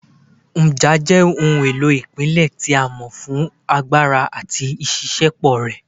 Nja jẹ ohun elo ile ipilẹ ti a mọ fun agbara ati iṣiṣẹpọ rẹ